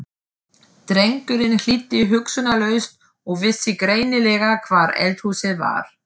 Drengurinn hlýddi hugsunarlaust og vissi greinilega hvar eldhúsið var.